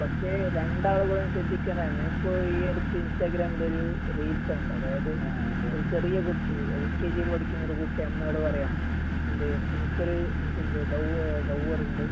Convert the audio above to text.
അതൊക്കെ ശരിയാണ് പക്ഷെ രണ്ടാളുകളും ശ്രദ്ധിക്കണം ഞാൻ ഇപ്പൊ ഈ അടുത്ത് ഇൻസ്റ്റഗ്രാമിലൊരു റീൽസ് കണ്ടു അതായത് ഒരു ചെറിയ കുട്ടി എൽ കെ ജി ല് പഠിക്കുന്നൊരു കുട്ടീ അമ്മയോട് പറയാ എന്തേ എനിക്കൊരു എന്ത് ലവ് ലൗവറുണ്ട്